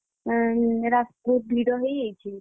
ୟା ରାସ୍ତା ବହୁତ ଭିଡ ହେଇଯାଇଛି।